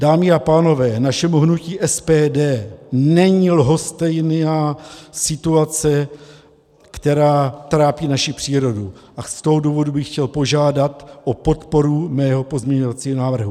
Dámy a pánové, našemu hnutí SPD není lhostejná situace, která trápí naši přírodu, a z toho důvodu bych chtěl požádat o podporu svého pozměňovacího návrhu.